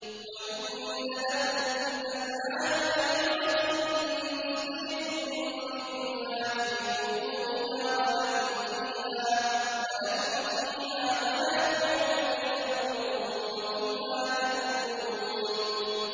وَإِنَّ لَكُمْ فِي الْأَنْعَامِ لَعِبْرَةً ۖ نُّسْقِيكُم مِّمَّا فِي بُطُونِهَا وَلَكُمْ فِيهَا مَنَافِعُ كَثِيرَةٌ وَمِنْهَا تَأْكُلُونَ